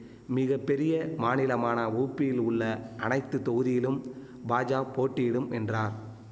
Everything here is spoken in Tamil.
மிக பெரிய மாநிலமான ஊப்பியில் உள்ள அனைத்து தொகுதியிலும் பாஜா போட்டியிடும் என்றார்